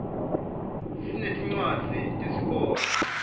sinetincwadzi tesikolo